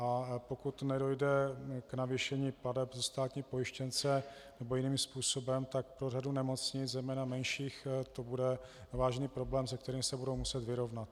A pokud nedojde k navýšení plateb za státní pojištěnce nebo jiným způsobem, tak pro řadu nemocnic, zejména menších, to bude vážný problém, se kterým se budou muset vyrovnat.